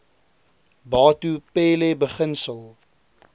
batho pele beginsel